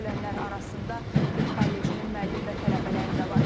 Ölənlər arasında tibb kollecinin müəllim və tələbələri də var.